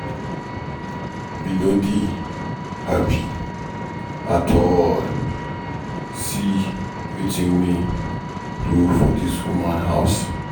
We no dey happy at all, see wetin rain do for dis woman house.